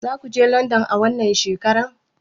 Zakuje london a wannan shekarar?